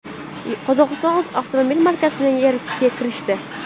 Qozog‘iston o‘z avtomobil markasini yaratishga kirishdi.